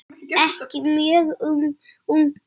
Ekki mjög ungur.